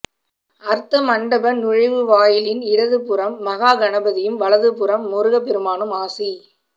அர்த்த மண்டப நுழைவாயிலின் இடதுபுறம் மகா கணபதியும் வலதுபுறம் முருகப் பெருமானும் ஆசி